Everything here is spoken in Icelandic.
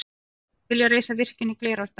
Vilja reisa virkjun í Glerárdal